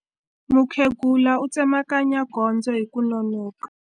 Mukhegula u tsemakanya gondzo hi ku nonoka.